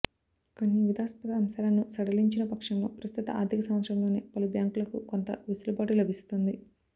కొన్ని వివాదాస్పద అంశాలను సడలించిన పక్షంలో ప్రస్తుత ఆర్థిక సంవత్సరంలోనే పలు బ్యాంకులకు కొంత వెసులుబాటు లభిస్తుంది